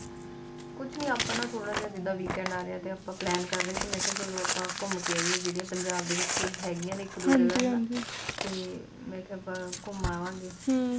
ਕੁਛ ਨੀ ਆਪਾਂ ਨਾ ਥੋੜ੍ਹਾ ਜਾ ਜੀਦਾ weekend ਆ ਰਿਹਾ ਤੇ ਆਪਾ plan ਕਰ ਰਹੇ ਸੀ ਮੈਂ ਕਿਹਾ ਕੀ ਚਲੋ ਆਪਾਂ ਘੁੰਮ ਕੇ ਆਈਏ ਜਿਹੜੀਆਂ ਪੰਜਾਬ ਦੇ ਵਿਚ ਹੈਗੀ ਆ ਨੇ ਕੁੱਝ ਇੱਕ ਦੋ ਜਗ੍ਹਾਂ